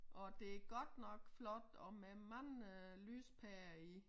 Og det godt nok flot og med mange øh lyspærer i